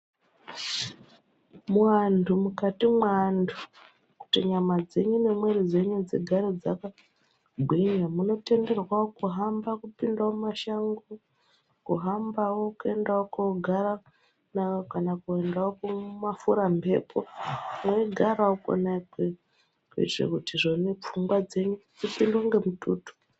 Muantu, mukati mweantu, kuti nyama dzenyu nemwiiri dzenyu dzigare dzakagwinya munotenderwa kuhamba kupinda mumashango, kuhambawo kuendawo koogara nayo kana kuendawo kumafuramhepo, mweigarawo kona ikweyo kuitira kuti izvoni pfungwa dzenyu dzipindwe ngemututu.